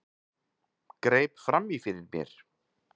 Greip fram í fyrir mér.